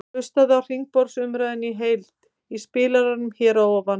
Hlustaðu á hringborðsumræðuna í heild í spilaranum hér að ofan.